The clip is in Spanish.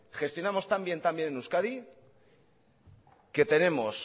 gestionamos tan bien en euskadi que tenemos